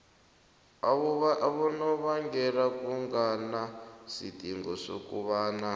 abonobangela kunganasidingo sokobana